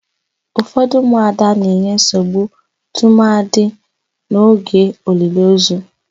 Ufọdụ ụmụada na-enye nsogbu tụmadị n'oge oliliozu.